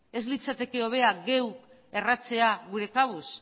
ez litzateke hobea geu erratzea geure kabuz